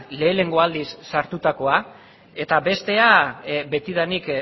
lehenengo aldiz sartutakoa eta bestea betidanik